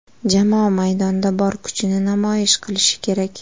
Jamoa maydonda bor kuchini namoyish qilishi kerak.